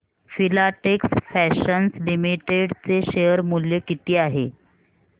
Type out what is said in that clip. Filatex fashions limited चे share मूल्य किती आहे